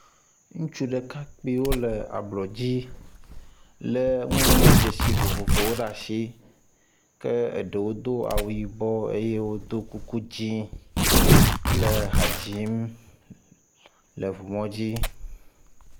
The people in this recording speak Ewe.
Ŋursu ɖekakpiwo le ablɔ dzi le nuŋɔŋlɔdzesi vovovowo ɖe asi ke eɖewo do awu yibɔ eye wodo kuku dzi le ha dzim le ŋumɔdzi.